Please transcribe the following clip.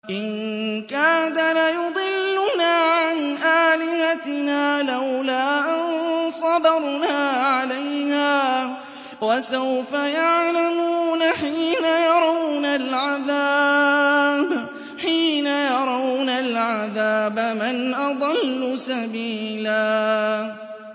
إِن كَادَ لَيُضِلُّنَا عَنْ آلِهَتِنَا لَوْلَا أَن صَبَرْنَا عَلَيْهَا ۚ وَسَوْفَ يَعْلَمُونَ حِينَ يَرَوْنَ الْعَذَابَ مَنْ أَضَلُّ سَبِيلًا